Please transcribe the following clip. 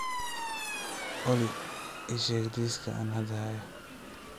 olly ii sheeg liiska aan hadda hayo